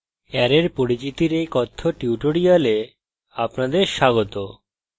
অ্যারের পরিচিতির এই কথ্য tutorial আপনাদের স্বাগত